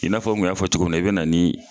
I n'a fɔ n kun y'a fɔ cogo muna i be na nii